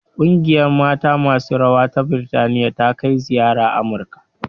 Ƙungiyar mata masu rawa ta Birtaniya ta kai ziyara Amurika